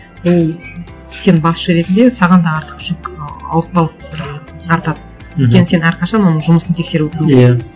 ол сен басшы ретінде саған да артық жүк ауыртпалық бір артады мхм өйткені сен әрқашан оның жұмысын тексеріп отыру иә